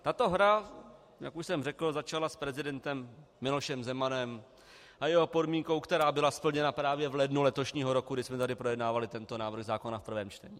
Tato hra, jak už jsem řekl, začala s prezidentem Milošem Zemanem a jeho podmínkou, která byla splněna právě v lednu letošního roku, když jsme tady projednávali tento návrh zákona v prvém čtení.